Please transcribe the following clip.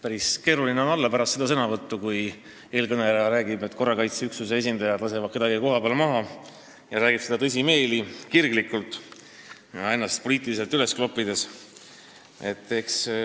Päris keeruline on olla siin pärast seda, kui eelkõneleja rääkis, et korrakaitseüksuse esindajad lasevad kedagi kohapeal maha, ning ta tegi seda tõsimeeli, kirglikult ja ennast poliitiliselt üles kloppides.